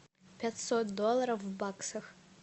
пятьсот долларов в баксах